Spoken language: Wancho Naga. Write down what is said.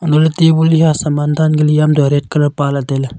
hailey tabul hia sama danka liam red colour pala tailey.